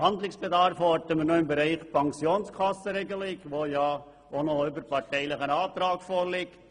Handlungsbedarf orten wir noch im Bereich der Pensionskassenregelung, wozu ja ein überparteilicher Antrag vorliegt.